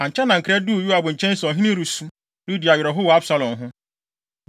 Ankyɛ na nkra duu Yoab nkyɛn se ɔhene no resu, redi awerɛhow wɔ Absalom ho.